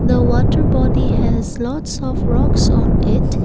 the water body has lots of rocks on it.